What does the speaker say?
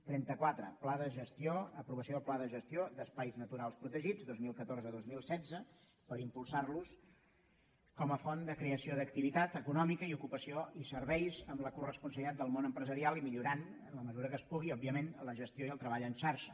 trenta quatre aprovació del pla de gestió d’espais naturals protegits dos mil catorze dos mil setze per impulsar los com a font de creació d’activitat econòmica i ocupació i serveis amb la coresponsabilitat del món empresarial i millorant en la mesura que es pugui òbviament la gestió i el treball en xarxa